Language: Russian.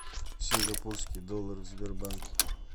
сингапурский доллар в сбербанке